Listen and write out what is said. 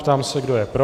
Ptám se, kdo je pro.